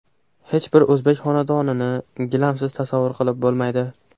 Hech bir o‘zbek xonadonini gilamsiz tasavvur qilib bo‘lmaydi.